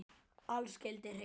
Allt skyldi hreint.